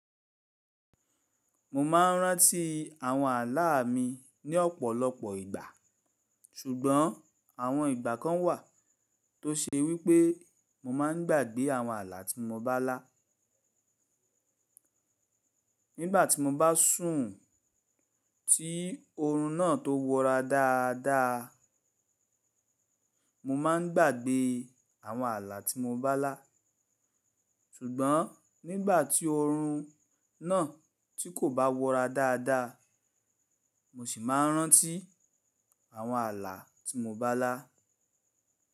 Mo ma ń ráǹtí àwọn ààlà mi ní ọ̀pọ̀lọpọ̀ ìgbà, ṣùgbọ́n àwọn ìgbà kan wà tó ṣe wí pé mo máa ń gbàgbé àwọn ààlà tí mo bá lá. Nígbà tí mo bá sùn tí oorun náà tó wọra dáadáa, mo máa ń gbàgbé àwọn ààlà tí mo bá lá. Sùgbọ́n nígbà tí oorun náà tí kò bá wọra dáadáa, mo ṣì máa ń ráǹtí àwọn ààlà tí mo bá lá.